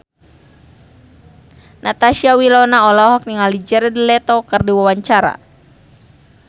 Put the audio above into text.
Natasha Wilona olohok ningali Jared Leto keur diwawancara